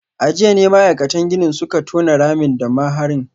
A jiya ne ma’aikatan ginin suka tona ramin da maharin